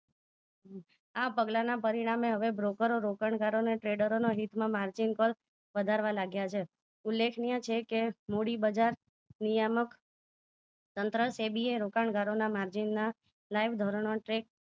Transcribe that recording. આ પગલાંના પરિણામે હવે broker ઓ રોકાણકારોને trader ના હિતમાં margin પર લાગ્યા છે ઉલેખનીય છે કે મૂડી બજાર નિયામક central સેબી રોકાણકારોને માર્જિનના લાઇવ ધોરણો tre